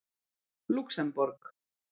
Lúxemborg